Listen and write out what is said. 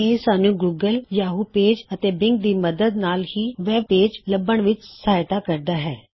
ਇਹ ਸਾਨ੍ਹੂੱ Google Yahoo search ਅਤੇ ਬਿੰਗ ਦੀ ਮਦਦ ਨਾਲ ਵੀ ਵੈਬ ਪੇਜ ਲੱਭਣ ਵਿੱਚ ਸਹਾਇਤਾ ਕਰਦਾ ਹੈ